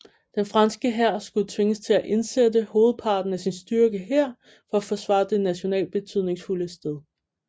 Den franske hær skulle tvinges til at indsætte hovedparten af sin styrke her for at forsvare det nationalt betydningsfulde sted